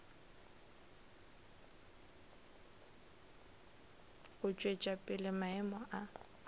go tšwetša pele maemo a